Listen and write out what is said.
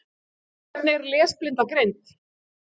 Hvernig er lesblinda greind?